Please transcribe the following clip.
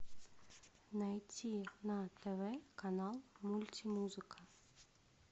найти на тв канал мультимузыка